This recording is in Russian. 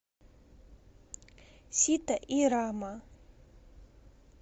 сита и рама